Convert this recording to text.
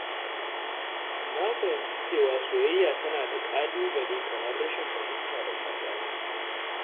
Na fahimci cewa soyayya tana da ƙalubale kamar rashin fahimta da saɓani.